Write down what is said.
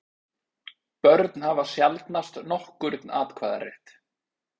Börn hafa sjaldnast nokkurn atkvæðarétt.